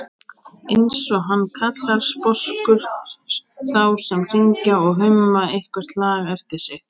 eins og hann kallar sposkur þá sem hringja og humma eitthvert lag eftir sig.